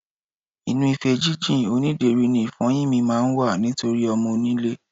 Inú ife jínjìn onídèéri ni ìfo̩yín mi máa ń wà nítorí o̩mo̩-onílé.